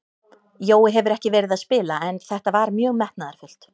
Jói hefur ekki verið að spila en þetta var mjög metnaðarfullt.